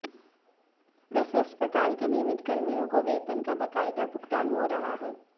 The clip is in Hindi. वैसे अस्पताल के नियमित कर्मियों को वेतन का बकायदा भुगतान हो रहा है